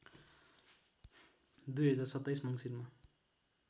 २०२७ मङ्सिरमा